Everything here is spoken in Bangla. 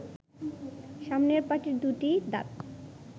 সামনের পাটির দু’টি দাঁত